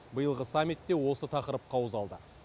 биылғы саммитте осы тақырып қаузалды